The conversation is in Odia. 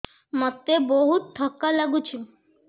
ମୋତେ ବହୁତ୍ ଥକା ଲାଗୁଛି